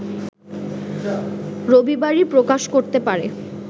রবিবারই প্রকাশ করতে পারে